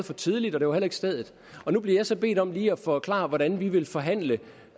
for tidligt og det var heller ikke stedet nu bliver jeg så bedt om lige at forklare hvordan vi vil forhandle